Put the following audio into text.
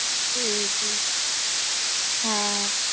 হম হম হ্যাঁ